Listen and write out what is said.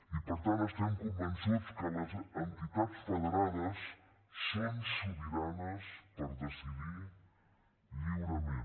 i per tant estem convençuts que les entitats federades són sobiranes per decidir lliurement